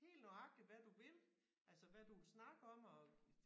Helt nøjagtigt hvad du vil altså hvad du vil snakke om og